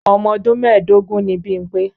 Ọmọdún mẹ́ẹ̀dógún ni Bímpé.